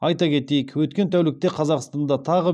айта кетейік өткен тәулікте қазақстанда тағы